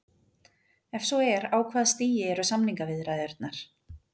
Ef svo er á hvaða stigi eru samningaviðræðurnar?